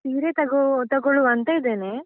ಸೀರೆ ತಗೊ~ ತಗೊಳುವಂತ ಇದೆನೆ.